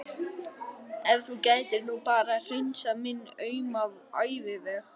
Ef þú gætir nú bara hreinsað minn auma æviveg.